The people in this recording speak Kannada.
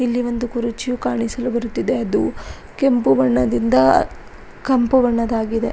ಇಲ್ಲಿ ಒಂದು ಕುರುಚಿಯು ಕಾಣಿಸಲು ಬರುತ್ತಿದೆ ಅದು ಕೆಂಪು ಬಣ್ಣದಿಂದ ಕಂಪುಬಣ್ಣದ್ದಾಗಿದೆ.